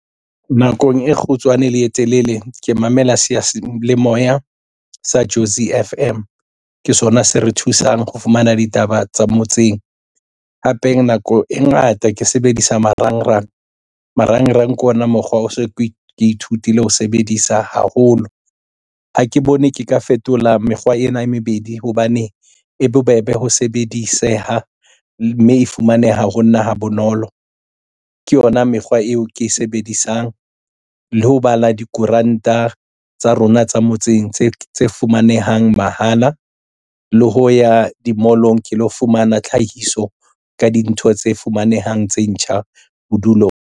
Nakong e kgutshwane le e telele ke mamela seyalemoya sa Jozi F_M ke sona se re thusang ho fumana ditaba tsa motseng hape nako e ngata ke sebedisa marangrang, marangrang ke ona mokgwa o so ke ithutile ho sebedisa haholo ha ke bone ke ka fetola mekgwa ena e mebedi hobane e bobebe ho sebediseha mme e fumaneha ho nna ha bonolo ke yona mekgwa eo ke e sebedisang le ho bala dikoranta tsa rona tsa motseng tse fumanehang mahala le ho ya di-mall-ong ke lo fumana tlhahiso ka dintho tse fumanehang tse ntjha bodulong.